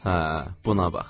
Hə, buna bax.